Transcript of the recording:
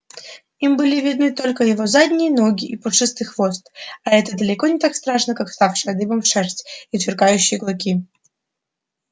им были видны только его задние ноги и пушистый хвост а это далеко не так страшно как вставшая дыбом шерсть и сверкающие клыки